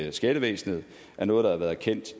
i skattevæsenet er noget der har været kendt